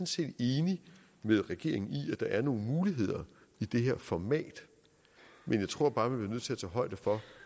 set enig med regeringen i at der er nogle muligheder i det her format men jeg tror bare vi bliver nødt til at tage højde for